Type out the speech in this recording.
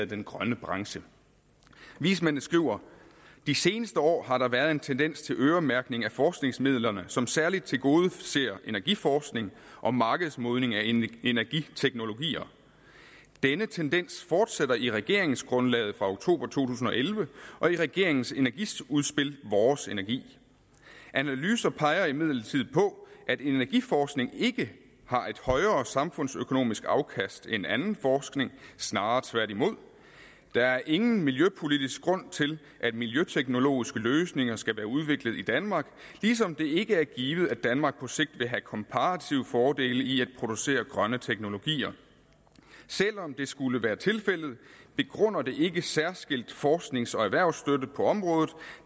den grønne branche vismændene skriver de seneste år har der været en tendens til øremærkning af forskningsmidlerne som særligt tilgodeser energiforskning og markedsmodning af energiteknologier denne tendens fortsætter i regeringsgrundlaget fra oktober to tusind og elleve og i regeringens energiudspil vores energi analyser peger imidlertid på at energiforskning ikke har et højere samfundsøkonomisk afkast end anden forskning snarere tværtimod der er ingen miljøpolitisk grund til at miljøteknologiske løsninger skal være udviklet i danmark ligesom det ikke er givet at danmark på sigt vil have komparative fordele i at producere grønne teknologier selvom det skulle være tilfældet begrunder det ikke særskilt forsknings og erhvervsstøtte på området